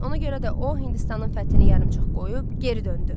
Ona görə də o Hindistanın fəthini yarımçıq qoyub geri döndü.